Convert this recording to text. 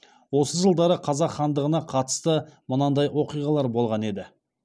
осы жылдары қазақ хандығына қатысты мынандай оқиғалар болған еді